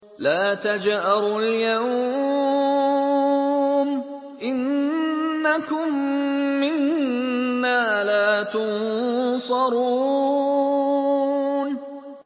لَا تَجْأَرُوا الْيَوْمَ ۖ إِنَّكُم مِّنَّا لَا تُنصَرُونَ